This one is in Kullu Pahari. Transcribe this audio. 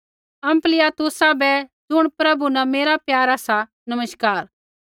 अम्पलियातुसा बै ज़ुण प्रभु न मेरा प्यारा सा नमस्कार